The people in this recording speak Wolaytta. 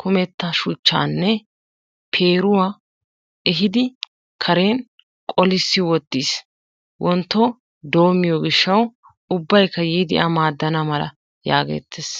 kumettaa shuchchaanne peeruwaa ehidi kareen qolissi wottiis wontto dommiyoo giishshawu ubbaykka yiidi a maaddana mala yaagettees.